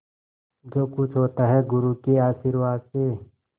जो कुछ होता है गुरु के आशीर्वाद से